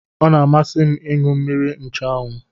Ọ na-amasị m ịṅụ mmiri nchụanwụ